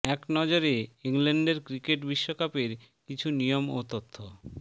এক নজরে ইংল্যান্ডের ক্রিকেট বিশ্বকাপের কিছু নিয়ম ও তথ্য